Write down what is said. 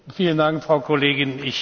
Vielen Dank, Frau Kollegin.